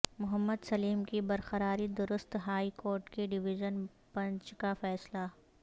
محمد سلیم کی برقراری درست ہائی کورٹ کے ڈیویژن بنچ کا فیصلہ